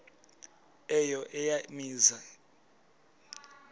eyo eya mizi